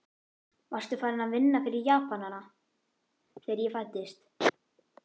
Varstu farinn að vinna fyrir Japanana, þegar ég fæddist?